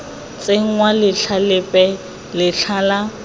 tsenngwa letlha lepe letlha la